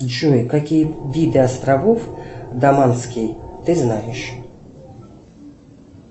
джой какие виды островов даманский ты знаешь